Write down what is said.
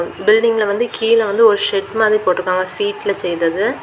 பில்டிங்ல வந்து கீழ வந்து ஒரு செட் மாதிரி போட்டுருக்காங்க சீட்ல செய்தது.